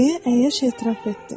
Deyə əyyaş etiraf etdi.